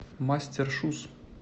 мастер шуз